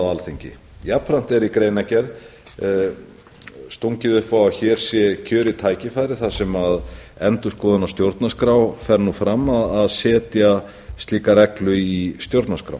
alþingi jafnframt er í greinargerð stungið upp á að hér sé kjörið tækifæri þar sem endurskoðun á stjórnarskrá fer nú fram að setja slíka reglu í stjórnarskrá